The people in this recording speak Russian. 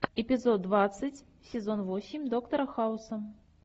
эпизод двадцать сезон восемь доктора хауса